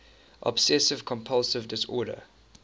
obsessive compulsive disorder